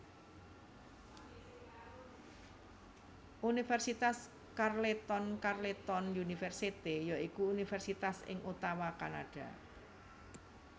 Universitas Carleton Carleton University ya iku universitas ing Ottawa Kanada